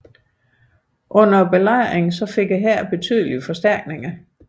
Under belejringen fik hæren betydelige forstærkninger